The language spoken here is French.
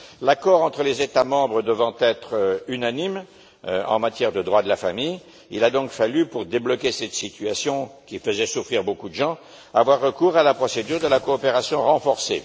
L'accord entre les États membres devant être unanime en matière de droit de la famille, il a fallu, pour débloquer cette situation qui faisait souffrir beaucoup de gens, avoir recours à la procédure de la coopération renforcée.